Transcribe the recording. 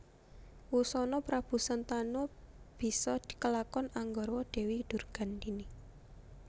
Wusana Prabu Sentanu bisa kelakon anggarwa Dewi Durgandini